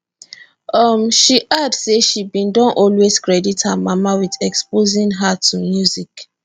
um she add say she bin don always credit her mama wit exposing her to music